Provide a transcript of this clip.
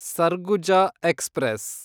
Surguja express